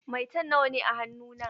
Maitan biyar ne a hannu na.